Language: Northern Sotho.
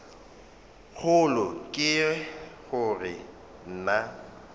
kgolo ke go re na